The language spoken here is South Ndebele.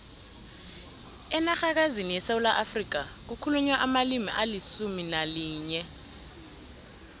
enarhakazini yesewula afrika kukhulunywa amalimi alisumu nalinye